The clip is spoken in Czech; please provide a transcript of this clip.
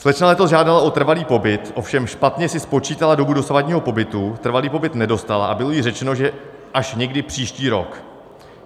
Slečna letos žádala o trvalý pobyt, ovšem špatně si spočítala dobu dosavadního pobytu, trvalý pobyt nedostala a bylo jí řečeno, že až někdy příští rok.